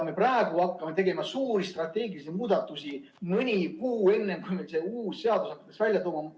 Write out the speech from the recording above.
Me praegu hakkame tegema suuri strateegilisi muudatusi, mõni kuu enne, kui see uus seadus hakkaks välja tulema.